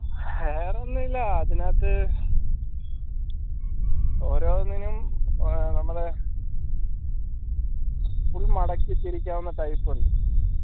വേറൊന്നുല്ല്യ അതിനകത്ത് ഓരോന്നിനും ഏർ നമ്മള് full മടക്കി തിരിക്കാവുന്ന type ഉണ്ട്